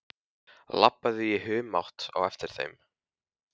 Labbaði í humátt á eftir þeim.